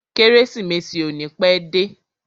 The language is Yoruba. Kérésìmesì ò ní pẹ́ dé.